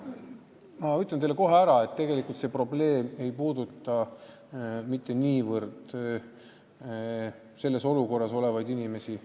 Ma ütlen teile kohe ära, et tegelikult ei puuduta see probleem mitte niivõrd teie nimetatud olukorras olevaid inimesi.